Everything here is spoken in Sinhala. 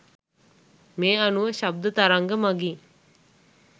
මේ අනුව ශබ්ද තරංග මගින්